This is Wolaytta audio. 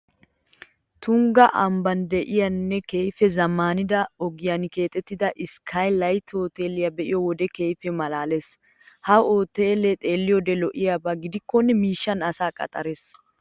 Tungga ambban de'iyanne keehippe zammaanida ogiyan keexettida iskkay layte hooteelee be'iyo wode keehippe maalaalees. Ha hooteelee xeelliyode lo"iyaba gidikkonne miishshan asaa qaxxarees.